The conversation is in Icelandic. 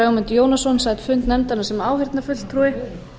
ögmundur jónasson sat fund nefndarinnar sem áheyrnarfulltrúi